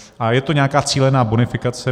A je to nějaká cílená bonifikace.